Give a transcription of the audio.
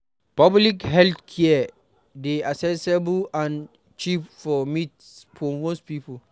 Public health care dey accessible and cheap for most people